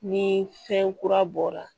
Ni fɛn kura bɔra